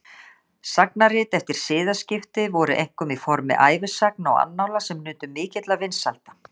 Sagnarit eftir siðaskipti voru einkum í formi ævisagna og annála sem nutu mikilla vinsælda.